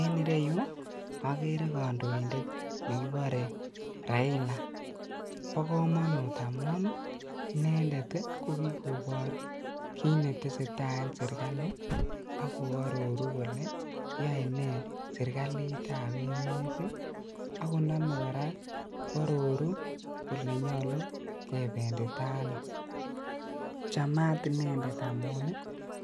En ireyu okere kondoindet nekibore Raila bokomonut amun inendet kokikobor kit netesee taa en sirkali ii ak koororu kole yoe nee sirkalitab emet ii ak konome koraa kwororu kole nyolu kebenditaa ano ,chamat inendet kot misink amun